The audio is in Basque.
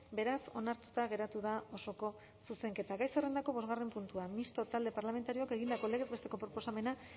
beraz onartuta geratu da osoko zuzenketa gai zerrendako bosgarren puntua mistoa talde parlamentarioak egindako legez besteko proposamena